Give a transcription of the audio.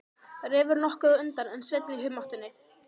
Refur nokkuð á undan en Sveinn í humáttinni.